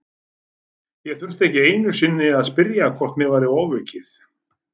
Ég þurfti ekki einu sinni að spyrja hvort mér væri ofaukið.